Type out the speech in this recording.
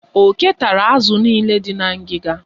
Oke tara azụ niile dị na ngịga.